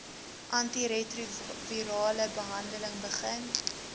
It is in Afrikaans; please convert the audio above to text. antiretrovirale behandeling begin